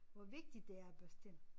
Hvor vigtigt det er at børste tænder